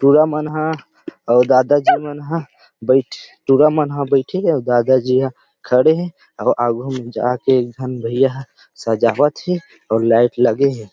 टूरा मन ह अउ दादा जी मन ह टूरा मन बैठ पूरा मन ह बैठी हे दादा जी मन ह खड़े हे अउ आगू जा के एक जहां भैया सजावट हे अउ लाइट लगे हे।